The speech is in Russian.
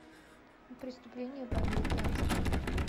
преступление по американски